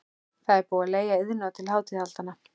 Það er búið að leigja Iðnó til hátíðahaldanna.